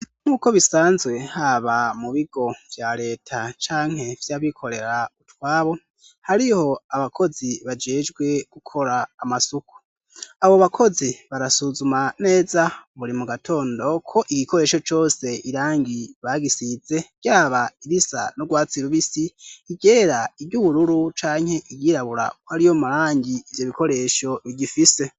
nuko bisanzwe haba mu bigo bya leta canke vy'abikorera utwabo hariho abakozi bajejwe gukora amasuku abo bakozi barasuzuma neza buri mu gatondo ko igikoresho cose irangi bagisize byaba risa no gwatsiru bisi igera iby'ubururu canke iryirabura ko ari yo marangi ibyo bikoresho bigifise